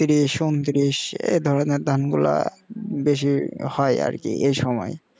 তিরিশ উন্তিরিশ এ ধরনের ধান গুলা বেশি হয় আর কি এসময়